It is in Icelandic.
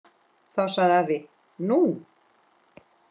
Þá sagði afi: Nú?